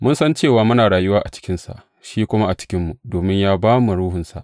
Mun san cewa muna rayuwa a cikinsa shi kuma a cikinmu, domin ya ba mu Ruhunsa.